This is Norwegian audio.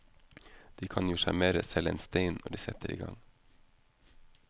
De kan jo sjarmere selv en stein når de setter i gang.